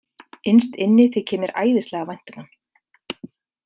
Innst inni þykir mér æðislega vænt um hann.